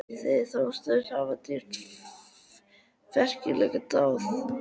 Þeir þóttust hafa drýgt frækilega dáð.